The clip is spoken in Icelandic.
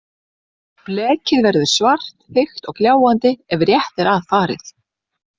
Blekið verður svart, þykkt og gljáandi ef rétt er að farið.